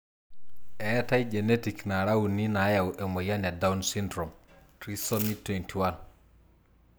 Etae genetic nara uni nayau emoyian e Down syndrome :Trisomy 21.